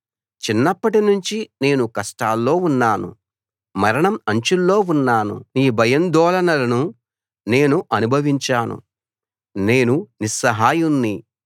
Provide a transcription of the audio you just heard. చిన్నప్పటి నుంచి నేను కష్టాల్లో ఉన్నాను మరణం అంచుల్లో ఉన్నాను నీ భయాందోళనలను నేను అనుభవించాను నేను నిస్సహాయుణ్ణి